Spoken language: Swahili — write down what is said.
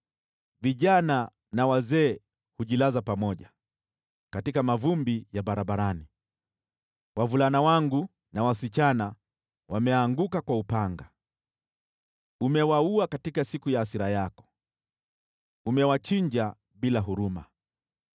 “Vijana na wazee hujilaza pamoja katika mavumbi ya barabarani, wavulana wangu na wasichana wameanguka kwa upanga. Umewaua katika siku ya hasira yako, umewachinja bila huruma.